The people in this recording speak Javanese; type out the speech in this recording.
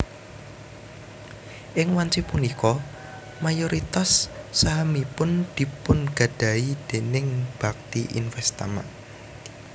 Ing wanci punika mayoritas sahamipun dipunnggadahi dèning Bhakti Investama